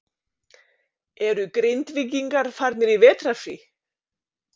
Eru Grindvíkingar farnir í vetrarfrí?